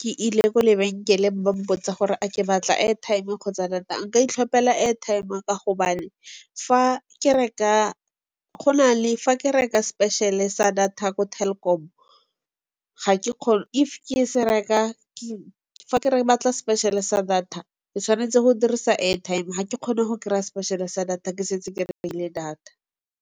ke ile ko lebenkeleng ba mpotsa gore a ke batla e airtime kgotsa data. Nka itlhopela e airtime ka gobane fa ke reka special-e sa data ko Telkom fa ke re Ke batla special-e sa data ke tshwanetse go dirisa airtime ga ke kgona go kry-a special-e sa data ke setse ke data.